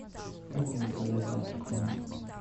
как мне заказать завтрак в номер